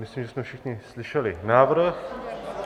Myslím, že jsme všichni slyšeli návrh -